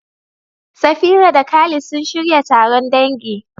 Safira da Khalid sun shirya taron dangi.